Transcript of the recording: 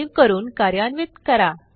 save करून कार्यान्वित करा